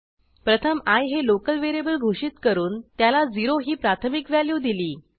प्रथम आय हे लोकल व्हेरिएबल घोषित करून त्याला 0 ही प्राथमिक व्हॅल्यू दिली